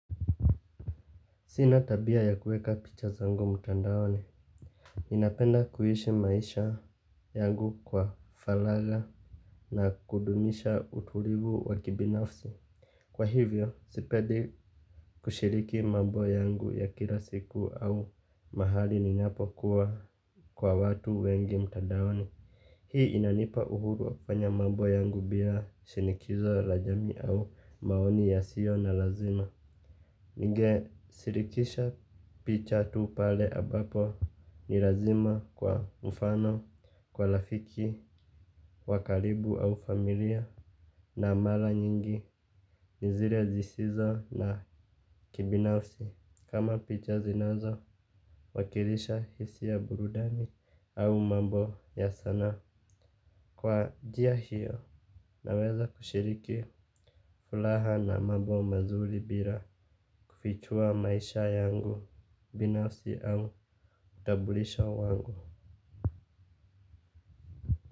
Sina tabia ya kueka picha zangu mtandaoni. Ninapenda kuishi maisha yangu kwa faragha na kudumisha utulivu wa kibinafsi. Kwa hivyo, sipedi kushiriki mambo yangu ya kila siku au mahali ninapokuwa kwa watu wengi mtandaoni. Hii inanipa uhuru wa kufanya mambo yangu bila shinikizo la jamii au maoni yasio na lazima. Ningeshirikisha picha tu pale ambapo ni lazima kwa mfano, kwa rafiki, wa karibu au familia. Na mara nyingi ni zile zisizo na kibinafsi. Kama picha zinazowakilisha hisia ya burudani au mambo ya sanaa. Kwa njia hiyo, naweza kushiriki furaha na mambo mazuri bila kufichua maisha yangu, binafsi au, utambulisho wangu.